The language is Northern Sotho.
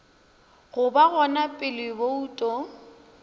go ba gona pele bouto